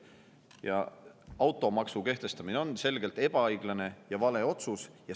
Ja automaksu kehtestamine oli selgelt ebaõiglane ja vale otsus.